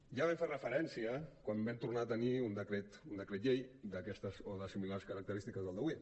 ja hi vam fer referència quan vam tornar a tenir un decret llei d’aquestes o de similars característiques al d’avui